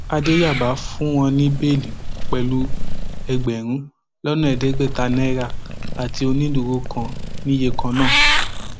àdẹyàbá fún wọn ní bẹẹlí pẹlú ẹgbẹrún lọnà ẹẹdẹgbẹta náírà àti onídùúró kan ní iye kan náà